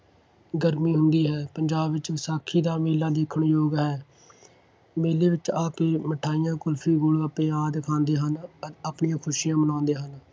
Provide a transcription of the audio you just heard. ਗਰਮੀ ਹੁੰਦੀ ਹੈ। ਪੰਜਾਬ ਵਿੱਚ ਵਿਸਾਖੀ ਦਾ ਮੇਲਾ ਦੇਖਣ-ਯੋਗ ਹੈ। ਮੇਲੇ ਵਿੱਚ ਆ ਕੇ ਮਠਿਆਈਆਂ, ਕੁਲਫੀ, ਗੋਲ-ਗੱਪੇ ਆਦਿ ਖਾਂਦੇ ਹਨ। ਆਪਣੀਆਂ ਖੁਸ਼ੀਆਂ ਮਨਾਉਂਦੇ ਹਨ।